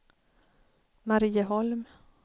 Marieholm